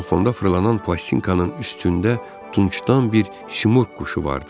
Ramofonda fırlanan plastinkanın üstündə tuncdan bir Simurq quşu vardı.